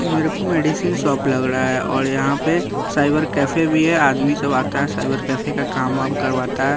मेरे को medicine shop लग रहा है और यहाँ पे साइबर कैफे भी है आदमी सब आता है साइबर कैफे का काम करवाता है।